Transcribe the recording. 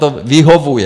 to vyhovuje.